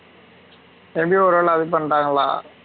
தெரிஞ்சு ஒரு வேலை அது பண்றாங்களா?